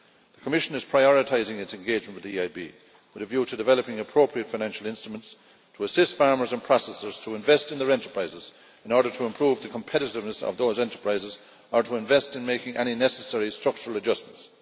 The Commission is prioritising its engagement with the EIB with a view to developing the appropriate financial instruments to assist farmers and processors in investing in their enterprises in order to improve the competitiveness of those enterprises or in investing in making any necessary structural adjustments.